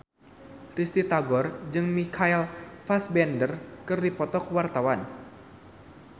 Risty Tagor jeung Michael Fassbender keur dipoto ku wartawan